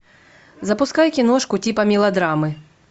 запускай киношку типа мелодрамы